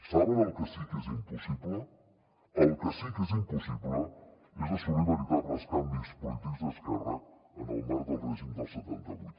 saben el que sí que és impossible el que sí que és impossible és assolir veritables canvis polítics d’esquerres en el marc del règim del setanta vuit